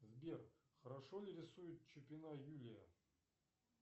сбер хорошо ли рисует чупина юлия